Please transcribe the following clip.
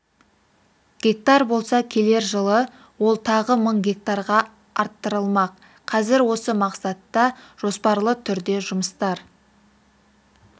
гектар болса келер жылы ол тағы мың гектарға арттырылмақ қазір осы мақсатта жоспарлы түрде жұмыстар